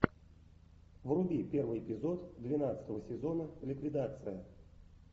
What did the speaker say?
вруби первый эпизод двенадцатого сезона ликвидация